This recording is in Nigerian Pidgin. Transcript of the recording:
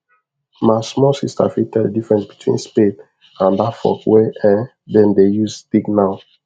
ma small sister fit tell the difference between spade and that fork wey um dem dey use dig now